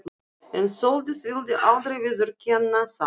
En Sóldís vildi aldrei viðurkenna það.